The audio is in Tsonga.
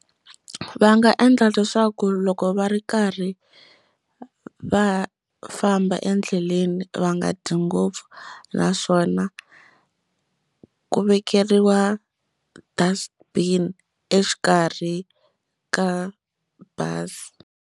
Va nga endla leswaku loko va ri karhi va famba endleleni va nga dyi ngopfu naswona ku vekeriwa dust bin exikarhi ka bazi.